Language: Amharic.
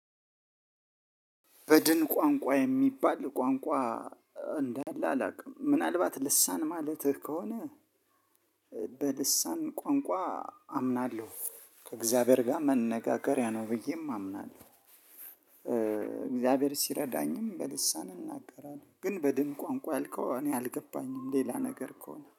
በድን ቋንቋ የሚባል ቋንቋ እንዳለ አላውቅም ምናልባት ልሳን ማለትህ ከሆነ በልሳን ቋንቋ አምናለሁ ከእግዚአብሔር ጋር መነጋገሪያ ነው ብዬም አምናለሁ። እግዚአብሔር ሲረዳኝም በልሳን እናገራለሁ ግን በድን ቋንቋ ያልከው እኔ አልገባኝም ሌላ ነገር ከሆነ